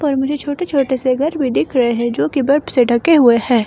पर मुझे छोटे छोटे से घर भी दिख रहे हैं जो कि बर्फ से ढके हुए है।